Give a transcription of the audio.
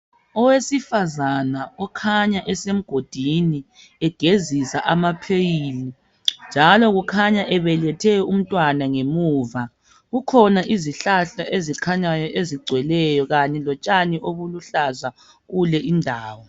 Owesifazana okhanya esemgodini egezisa amapheyili, njalo kukhanya ebelethe umntwana ngemuva. Kukhona izihlahla ezikhanyayo ezigcweleyo kanye lotshani obuluhlaza kulendawo.